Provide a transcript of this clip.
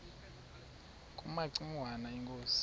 kumaci ngwana inkosi